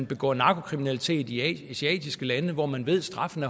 begår narkokriminalitet i asiatiske lande hvor man ved at straffen